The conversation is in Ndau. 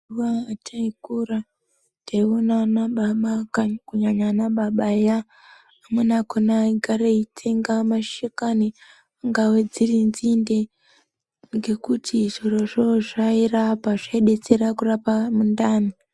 Mazuva ataikura taiona anababa kunyanya anababa eya amweni akona aigare eitsenga mashakani dzingave dziri nzinde. Ngekuti zvirozvo zvairapa, zvaidetsera kurapa mundani.